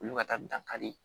Olu ka taa dankari